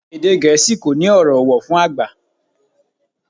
Èdè Gẹ̀ẹ́sì kò ní ọ̀rọ̀ ọ̀wọ̀ fún àgbà